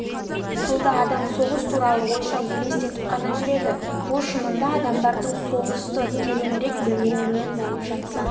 тылда адам соғыс туралы ойша елестетіп қана жүреді бұл шынында адамдардың соғысты тереңірек білмеуінен болып жатса